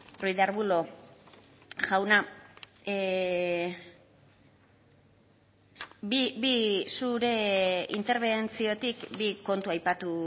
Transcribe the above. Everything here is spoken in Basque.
ruiz de arbulo jauna zure interbentziotik bi kontu aipatu